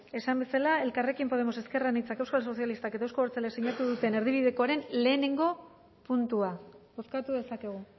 esan bezala elkarrekin podemos ezker anitzak euskal sozialistak eta euzko abertzaleak sinatu duten erdibidekoaren batgarrena puntua bozkatu dezakegu